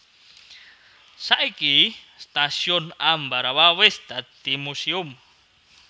Saiki Stasiun Ambarawa wis dadi museum